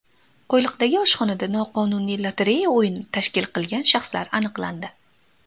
Qo‘yliqdagi oshxonada noqonuniy lotereya o‘yini tashkil qilgan shaxslar aniqlandi.